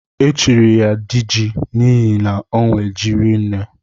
Echiri ya diji n'ihi na onwe ji rinne.